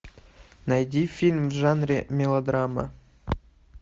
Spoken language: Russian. найди фильм в жанре мелодрама